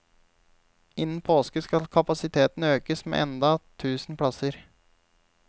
Innen påske skal kapasiteten økes med enda tusen plasser.